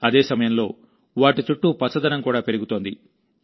అదే సమయంలో వాటి చుట్టూ పచ్చదనం కూడా పెరుగుతోంది